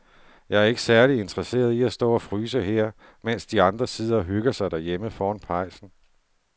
Jeg er ikke særlig interesseret i at stå og fryse her, mens de andre sidder og hygger sig derhjemme foran pejsen.